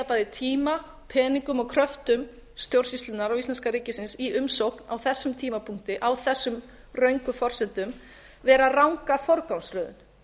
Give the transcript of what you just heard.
bæði tíma peningum og kröftum stjórnsýslunnar og íslenska ríkisins í umsókn á þessum tímapunkti á þessum röngu forsendum vera ranga forgangsröðun